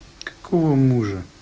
какого мужа